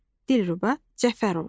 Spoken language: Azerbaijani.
Dilruba Cəfərova.